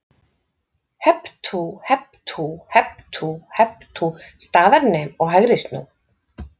Hep tú, hep tú, hep tú, hep tú staðar nem og hægri snú.